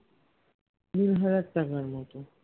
তিন হাজার টাকার মতো